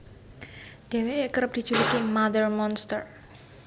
Dhéwéké kerep dijuluki Mother Monster